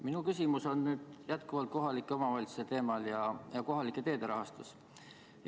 Minu küsimus on jätkuvalt kohalike omavalitsuste ja kohalike teede rahastuse teemal.